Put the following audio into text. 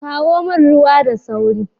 Kawo min ruwa da sauri